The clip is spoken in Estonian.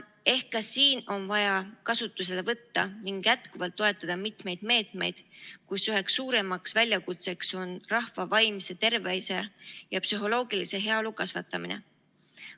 Ehk ka siin on vaja kasutusele võtta ning jätkuvalt toetada mitmeid meetmeid, kus üheks suuremaks väljakutseks on rahva vaimse tervise ja psühholoogilise heaolu kasvatamine.